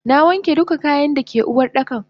Nawanke duka kayan dake Uwardakan.